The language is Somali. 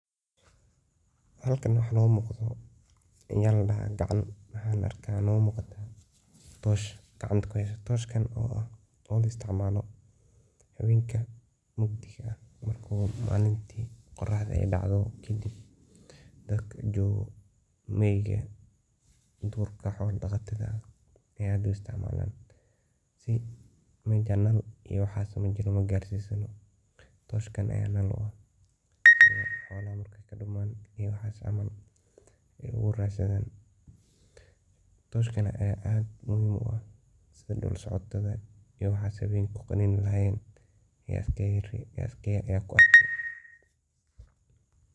Halkan waxa noga muqataa oo gacanta tosh ku heysa. Toshkan waxa loo isticmala hawenka mugdiga ah iyo malinki qoraxda dacdo kadib dadka joga .Dadka hola daqatada ayaa zaid u isticmala ,oo meja naal iyo dab iyo waxas magarsisano ,toshkan ayaa markay xolaha duman iyo waxas si ay ogu radsadhan. Toshkan ayaa aad iyo aad muhim ugu ah si dul socodka iyo waxas ogu radsadhan yaa iskaga rebi yaad ku arki.